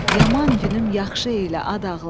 Yaman günüm yaxşı elə ad ağlar.